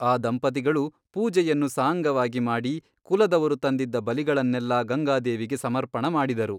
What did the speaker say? ಆ ದಂಪತಿಗಳು ಪೂಜೆಯನ್ನು ಸಾಂಗವಾಗಿ ಮಾಡಿ ಕುಲದವರು ತಂದಿದ್ದ ಬಲಿಗಳನ್ನೆಲ್ಲಾ ಗಂಗಾದೇವಿಗೆ ಸಮರ್ಪಣ ಮಾಡಿದರು.